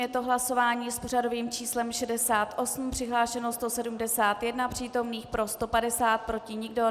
Je to hlasování s pořadovým číslem 68, přihlášeno 171 přítomných, pro 150, proti nikdo.